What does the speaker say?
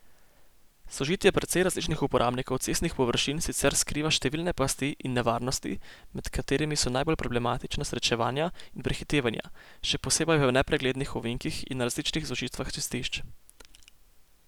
Sožitje precej različnih uporabnikov cestnih površin sicer skriva številne pasti in nevarnosti med katerimi so najbolj problematična srečevanja in prehitevanja, še posebej v nepreglednih ovinkih in na različnih zožitvah cestišč.